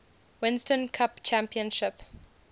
winston cup championship